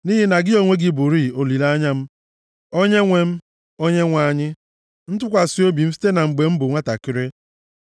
Nʼihi na gị onwe gị bụrịị olileanya m, Onyenwe m Onyenwe anyị, ntụkwasị obi m site na mgbe m bụ nwantakịrị. + 71:5 \+xt Jer 14:8; Jer 17:7,13\+xt*